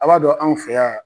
A b'a dɔn anw fe yan